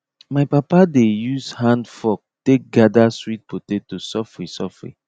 my papa dey use handfork take gather sweet potato sofri sofri